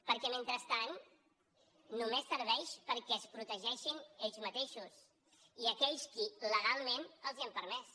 perquè mentrestant només serveix perquè es protegeixin ells mateixos i aquells qui legalment els ho han permès